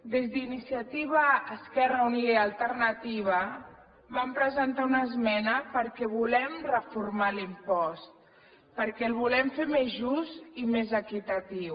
des d’iniciativa esquerra unida i alternativa vam presentar una esmena perquè volem reformar l’impost perquè el volem fer més just i més equitatiu